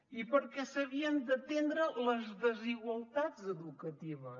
i perquè s’havien d’atendre les desigualtats educatives